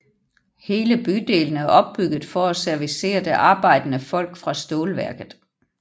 Hele bydelen er opbygget for at servicere det arbejdende folk fra stålværket